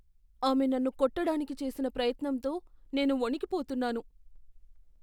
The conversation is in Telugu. ఆమె నన్ను కొట్టడానికి చేసిన ప్రయత్నంతో నేను వణికిపోతున్నాను.